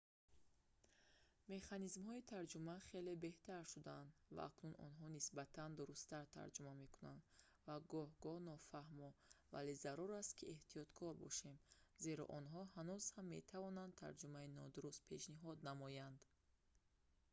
механизмҳои тарҷума хеле беҳтар шудаанд ва акнун онҳо нисбатан дурусттар тарҷума мекунанд ва гоҳ-гоҳ нофаҳмо вале зарур аст ки эҳтиёткор бошем зеро онҳо ҳанӯз ҳам метавонанд тарҷумаи нодуруст пешниҳод намоянд